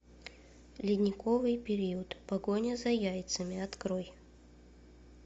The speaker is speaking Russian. ледниковый период погоня за яйцами открой